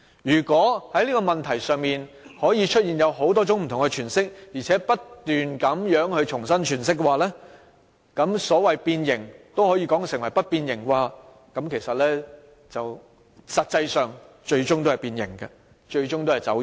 如果在這個問題上，有人可以提出多種不同詮釋，並不斷重新詮釋，把變形也說成不變形，最終"一國兩制"也是變形、走樣。